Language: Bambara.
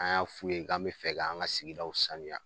An y'a f'u ye k'an be fɛ k'an ka sigidaw sanuya